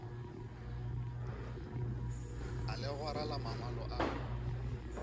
a legora la mangwalo a